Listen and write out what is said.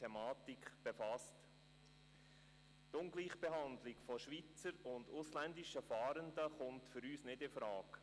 Die Ungleichbehandlung von Schweizer und ausländischen Fahrenden kommt für uns nicht infrage.